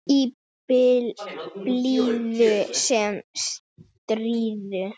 Í blíðu sem stríðu.